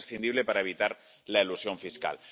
Es imprescindible para evitar la elusión fiscal.